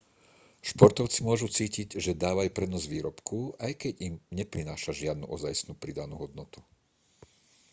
športovci môžu cítiť že dávajú prednosť výrobku aj keď im neprináša žiadnu ozajstnú pridanú hodnotu